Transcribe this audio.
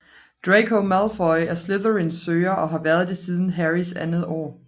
Draco Malfoy er Slytherins Søger og har været det siden Harrys andet år